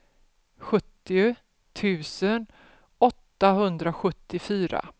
sjuttio tusen åttahundrasjuttiofyra